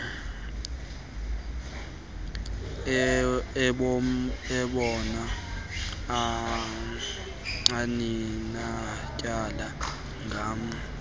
eyoba aninatyala ngam